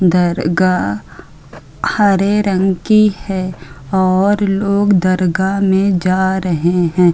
दरगाह हरे रंग की है और लोग दरगाह में जा रहे हैं।